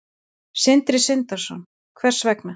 Sindri Sindrason: Hvers vegna?